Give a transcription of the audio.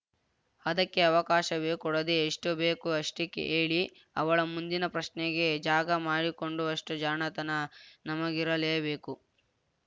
ಅದಕ್ಕೆ ಅವಕಾಶವೇ ಕೊಡದೆ ಎಷ್ಟುಬೇಕೊ ಅಷ್ಟೆಹೇಳಿ ಅವಳ ಮುಂದಿನ ಪ್ರಶ್ನೆಗೆ ಜಾಗ ಮಾಡಿಕೊಂಡುವಷ್ಟುಜಾಣತನ ನಮಗಿರಲೇಬೇಕು